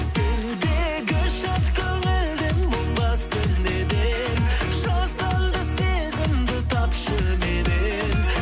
сендегі шат көңілді мұң басты неден жасанды сезімді тапшы меннен